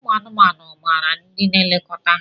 Ụmụ anụmanụ maara ndị na-elekọta ha.